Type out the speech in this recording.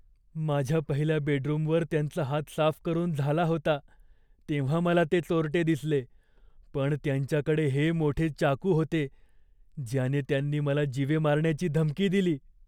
माझ्या पहिल्या बेडरूमवर त्यांचा हात साफ करून झाला होता तेव्हा मला ते चोरटे दिसले, पण त्यांच्याकडे हे मोठे चाकू होते ज्याने त्यांनी मला जीवे मारण्याची धमकी दिली.